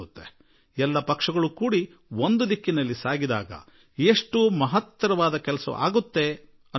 ಎಲ್ಲಾ ಪಕ್ಷಗಳೂ ಕೂಡಿಕೊಂಡು ಒಂದೇ ದಿಕ್ಕಿನಲ್ಲಿ ಹೊರಟರೆ ಎಂತಹ ಹೊಡ್ಡ ಕೆಲಸವೂ ಸಾಧ್ಯವಾಗುತ್ತದೆ